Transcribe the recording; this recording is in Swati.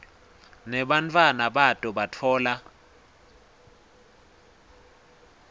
nebantfwana bato batfola